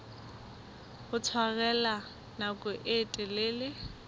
ho tshwarella nako e telele